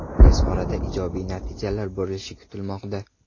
Tez orada ijobiy natijalar bo‘lishi kutilmoqda.